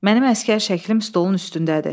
Mənim əsgər şəklim stolun üstündədir.